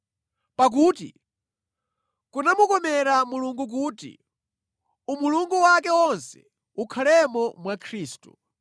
Pakuti kunamukomera Mulungu kuti umulungu wake wonse ukhalemo mwa Khristu.